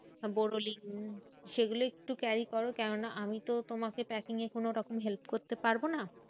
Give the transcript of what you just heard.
বোরোলিন সেগুলো একটু carry করো। কেননা আমিতো তোমাকে packing এ কোনো রকম help করতে পারবো না।